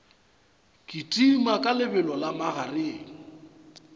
kitima ka lebelo la magareng